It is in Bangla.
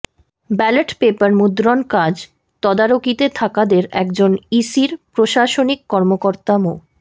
ব্যালট পেপার মুদ্রণ কাজ তদারকিতে থাকাদের একজন ইসির প্রশাসনিক কর্মকর্তা মো